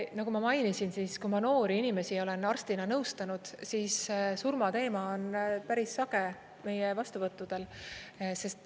Nagu ma mainisin, kui ma noori inimesi olen arstina nõustanud, siis surmateema on päris sage meie vastuvõttudel.